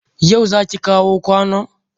Yau zaki kawo kwanon?